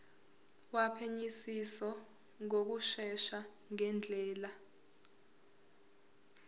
wophenyisiso ngokushesha ngendlela